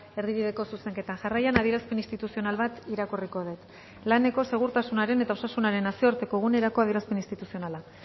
erdibideko zuzenketa jarraian adierazpen instituzional bat irakurriko dut laneko segurtasunaren eta osasunaren nazioarteko egunerako adierazpen instituzionala